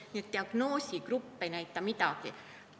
Nii et diagnoosigrupp ei näita midagi.